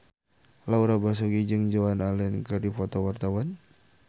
Laura Basuki jeung Joan Allen keur dipoto ku wartawan